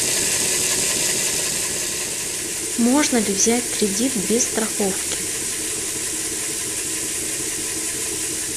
можно ли взять кредит без страховки